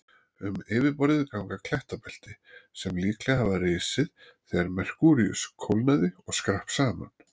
Um yfirborðið ganga klettabelti sem líklega hafa risið þegar Merkúríus kólnaði og skrapp saman.